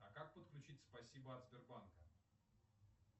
а как подключить спасибо от сбербанка